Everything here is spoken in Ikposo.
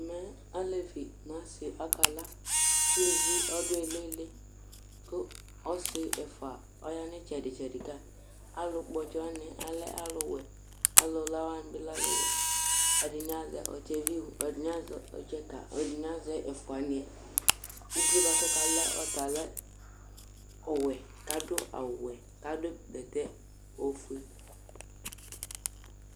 Ɛmɛ alevi ŋu ɔsi akala Ulʋvi ɔɖu iliɣili kʋ ɔsi ɛfʋa ɔɣa ŋu itsɛɖi tsɛɖi ka Alu kpɔ ɔtsɛ waŋi alɛ aluwɛ Alula waŋi bi lɛ aluwɛ Ɛɖìní azɛ ɔtsɛ viʋ, ɛɖìní azɛ ɔtsɛ ka, ɛɖìní azɛ ɛfʋaniɛ Uvíe baku ɔkalaɛ ɔta lɛ ɔwɛ kʋ aɖu awu wɛ kʋ aɖu bɛtɛ ɔfʋe